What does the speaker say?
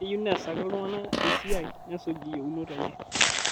Keyieu neesaki ltung'ana esiai nesuj yueunot enye